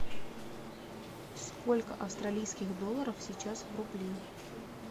сколько австралийских долларов сейчас в рубле